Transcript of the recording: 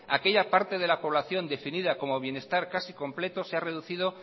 aquella parte de la población definida como bienestar casi completo se ha reducido